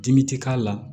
Dimi ti k'a la